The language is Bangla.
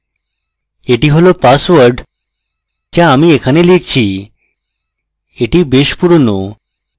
এটি হল পাসওয়ার্ড so আমি এখানে লিখছি এটি বেশ পুরোনো